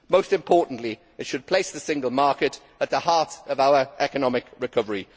Most importantly, it should place the single market at the heart of our economic recovery.